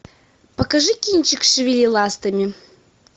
покажи кинчик шевели ластами